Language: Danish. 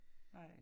Nej